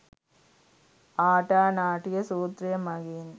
ආටා නාටිය සුත්‍රය මගින්